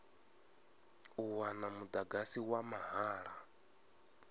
u wana mudagasi wa mahala